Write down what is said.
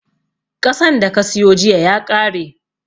Ƙasan da ka siyo jiya ya ƙare